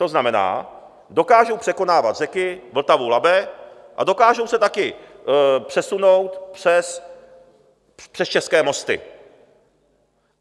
To znamená, dokážou překonávat řeky, Vltavu, Labe a dokážou se taky přesunout přes české mosty.